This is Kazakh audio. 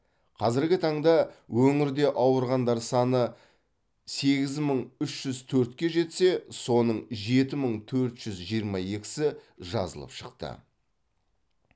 қазіргі таңда өңірде ауырғандар саны сегіз мың үш жүз төртке жетсе соның жеті мың төрт жүз жиырма екісі жазылып шықты